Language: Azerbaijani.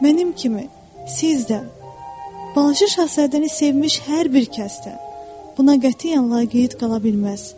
Mənim kimi siz də balaca şahzadəni sevmiş hər bir kəsdə buna qətiyyən laqeyd qala bilməz.